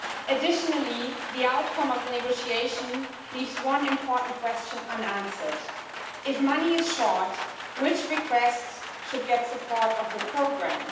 Additionally, the outcome of the negotiation leaves one important question unanswered if money is short, which requests should get support of the programme?